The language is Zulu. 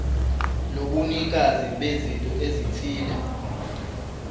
lobunikazi bezinto ezithile